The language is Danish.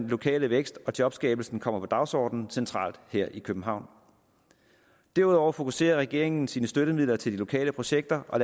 lokale vækst og jobskabelse kommer på dagsordenen centralt her i københavn derudover fokuserer regeringen sine støttemidler til lokale projekter og